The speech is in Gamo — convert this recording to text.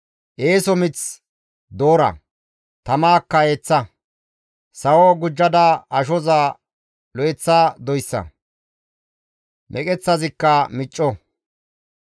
Eeso mith doora; tamaakka eeththa. Sawo gujjada ashoza lo7eththa doyssa; meqeththazikka micco.